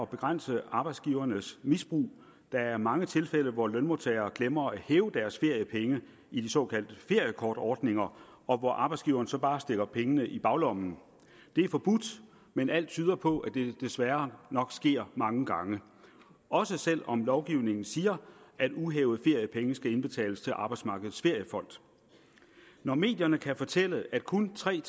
begrænse arbejdsgivernes misbrug der er mange tilfælde hvor lønmodtagere glemmer at hæve deres feriepenge i de såkaldte feriekortordninger og hvor arbejdsgiveren så bare stikker pengene i baglommen det er forbudt men alt tyder på at det desværre nok sker mange gange også selv om lovgivningen siger at uhævede feriepenge skal indbetales til arbejdsmarkedets feriefond når medierne kan fortælle at kun tre